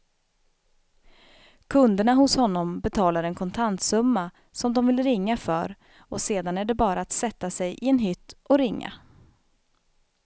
Kunderna hos honom betalar en kontantsumma som de vill ringa för och sedan är det bara att sätta sig i en hytt och ringa.